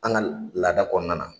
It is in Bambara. An ka laada kɔnɔna na.